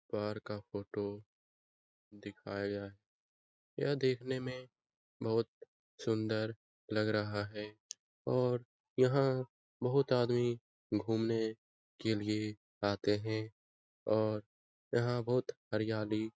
car का photo दिखाया यह दिखने में बहोत सुन्दर लग रहा है और यहाँ बहोत आदमी घुमने के लिए आते हैं और यहाँ बहोत हरियाली --